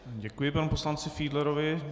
Děkuji panu poslanci Fiedlerovi.